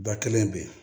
Ba kelen be yen